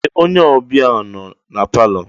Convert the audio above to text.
Ee! Onye ọbịa nọ na palọ.